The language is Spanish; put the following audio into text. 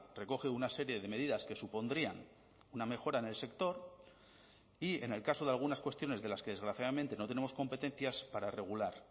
recoge una serie de medidas que supondrían una mejora en el sector y en el caso de algunas cuestiones de las que desgraciadamente no tenemos competencias para regular